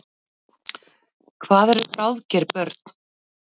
Hvað eru bráðger börn?